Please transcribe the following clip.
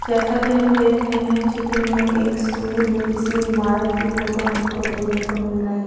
जैसा कि हम देख रहे हैं चित्र में एक स्कूल या किसी इमारत की फोटो हमको देखने को मिल रही--